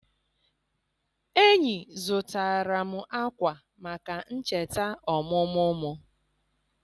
Enyi zụtara m akwa maka ncheta ọmụmụ m.